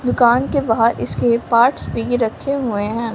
दुकान के बाहर इसके पार्ट्स भी रखे हुए हैं।